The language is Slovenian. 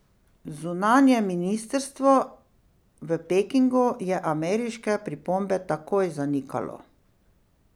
Zunanje ministrstvo v Pekingu je ameriške pripombe takoj zanikalo.